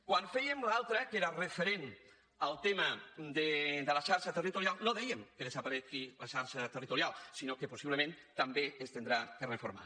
quan fèiem l’altra que era referent al tema de la xarxa territorial no dèiem que desaparegui la xarxa territorial sinó que possiblement també s’haurà de reformar